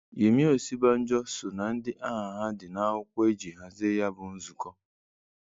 Yemi Osibanjo so na ndị aha ha dị nakwụkwọ eji hazie ya bụ nzụkọ